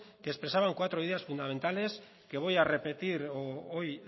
que expresaban cuatro ideas fundamentales que voy a repetir hoy